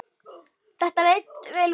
Þetta leit vel út.